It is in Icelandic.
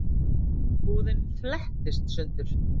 Húðin flettist sundur.